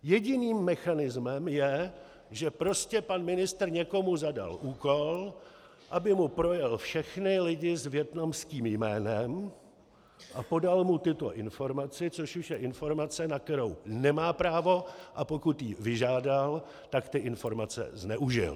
Jediným mechanismem je, že prostě pan ministr někomu zadal úkol, aby mu projel všechny lidi s vietnamským jménem a podal mu tuto informaci, což už je informace, na kterou nemá právo, a pokud ji vyžádal, tak ty informace zneužil.